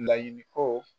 Laɲini ko